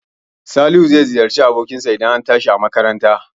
Salihu zai ziyarci abokin sa idan an tashi a makaranta